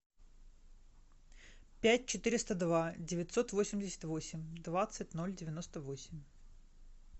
пять четыреста два девятьсот восемьдесят восемь двадцать ноль девяносто восемь